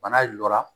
Bana jɔra